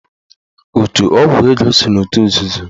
Otu ọgwụ ego so n'otu nzuzo.